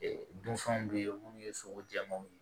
Ee dunfɛnw bɛ yen minnu ye sogo jɛmanw ye